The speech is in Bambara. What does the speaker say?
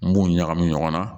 N b'u ɲagami ɲɔgɔn na